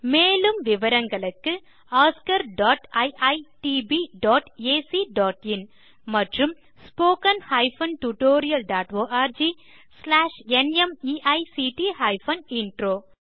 மேலும் விவரங்களுக்கு oscariitbacஇன் மற்றும் spoken tutorialorgnmeict இன்ட்ரோ